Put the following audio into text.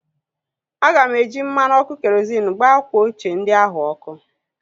Aga m eji mmanụ ọkụ kerozịn gbaa akwa ochie ndị ahụ ọkụ